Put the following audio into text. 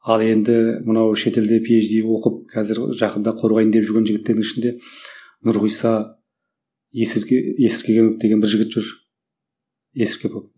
ал енді мынау шет елде пи ейч ди оқып қазір жақында қорғайын деп жүрген жігіттердің ішінде нұрғиса есірге есіркегенов деген бір жігіт жүр есіркепов